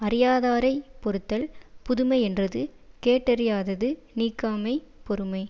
அறியாதாரைப் பொறுத்தல் புதுமை யென்றது கேட்டறியாதது நீக்காமை பொறுமை